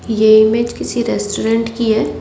ये इमेज किसी रेस्टोरेंट की है।